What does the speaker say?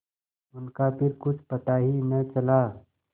उनका फिर कुछ पता ही न चला